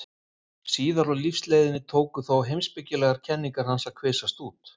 Síðar á lífsleiðinni tóku þó heimspekilegar kenningar hans að kvisast út.